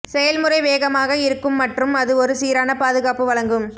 செயல்முறை வேகமாக இருக்கும் மற்றும் அது ஒரு சீரான பாதுகாப்பு வழங்கும்